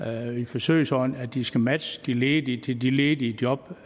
i en forsøgsordning at de skal matche de ledige til de ledige job